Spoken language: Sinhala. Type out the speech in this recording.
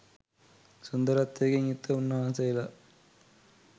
සුන්දරත්වයකින් යුක්ත උන්වහන්සේලා